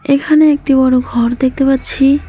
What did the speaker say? এখানে একটি বড় ঘর দেখতে পাচ্ছি।